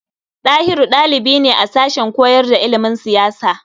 Ɗahiru ɗalibi ne a sashen koyar da ilimin siyasa.